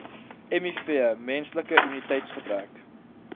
miv menslike immuniteitsgebrek